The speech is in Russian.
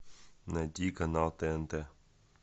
найди канал тнт